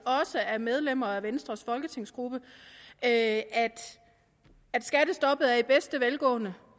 også af medlemmer af venstres folketingsgruppe at skattestoppet lever i bedste velgående